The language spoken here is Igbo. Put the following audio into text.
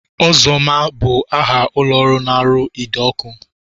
Ozoma bụ aha ụlọọrụ na-arụ ide ọkụ